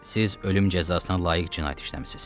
Siz ölüm cəzasına layiq cinayət işləmisiniz.